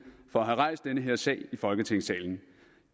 for at have rejst den her sag i folketingssalen